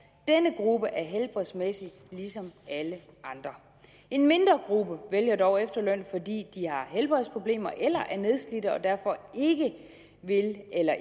denne gruppe er helbredsmæssigt ligesom alle andre en mindre gruppe vælger dog efterløn fordi de har helbredsproblemer eller er nedslidte og derfor ikke vil eller